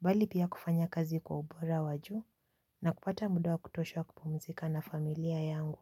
bali pia kufanya kazi kwa ubora wajuu na kupata muda wa kutosha wa kupumzika na familia yangu.